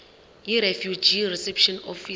yirefugee reception office